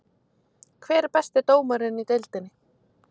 Hver er besti dómarinn í deildinni?